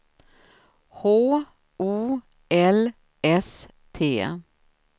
H O L S T